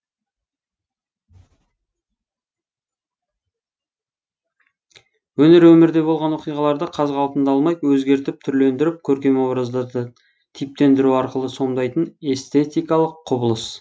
өнер өмірде болған оқиғаларды қаз қалпында алмай өзгертіп түрлендіріп көркем образдарды типтендіру арқылы сомдайтын эстетикалық құбылыс